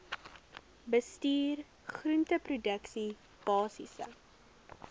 bestuur groenteproduksie basiese